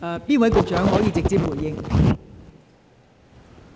哪位官員可直接回應？